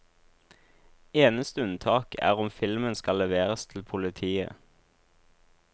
Eneste unntak er om filmen skal leveres til politiet.